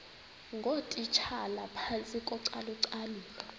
ngootitshala phantsi kocalucalulo